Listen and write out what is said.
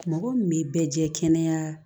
Mɔgɔ min bɛ bɛɛ jɛ kɛnɛya